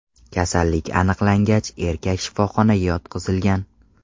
Kasallik aniqlangach, erkak shifoxonaga yotqizilgan.